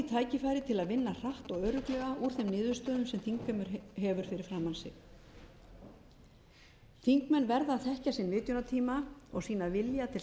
tækifærið til að vinna hratt og örugglega úr þeim niðurstöðum sem þingheimur hefur fyrir framan sig þingmenn verða að þekkja sinn vitjunartíma og sýna vilja til samvinnu og